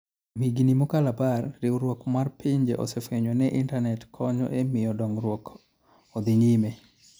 Kuom higini mokalo apar, Riwruok mar Pinje osefwenyo ni Intanet konyo e miyo dongruok odhi nyime.